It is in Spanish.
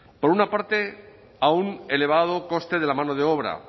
por una parte a un elevado coste de la mano de obra